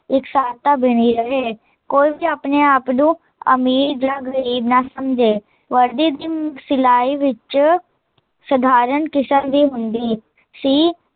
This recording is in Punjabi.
ਇਕਸਾਰਤਾ ਬਣੀ ਰਹੇ, ਕੋਈ ਵੀ ਆਪਣੇ ਆਪ ਨੂੰ, ਅਮੀਰ ਯਾ ਗਰੀਬ ਨਾ ਸਮਜੇ, ਵਰਦੀ ਦੀ ਸਿਲਾਈ ਵਿੱਚ ਸਧਾਰਨ ਕਿਸਮ ਹੀਂ ਹੁੰਦੀ ਸੀ